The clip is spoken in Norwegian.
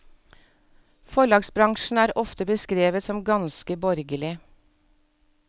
Forlagsbransjen er ofte beskrevet som ganske borgerlig.